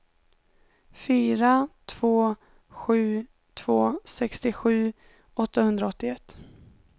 fyra två sju två sextiosju åttahundraåttioett